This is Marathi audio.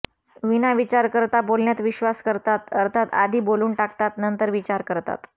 विना विचार करता बोलण्यात विश्वास करतात अर्थात आधी बोलून टाकतात नंतर विचार करतात